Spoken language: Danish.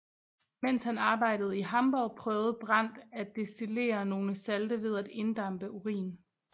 Mens han arbejdede i Hamborg prøvede Brand at destillere nogle salte ved at inddampe urin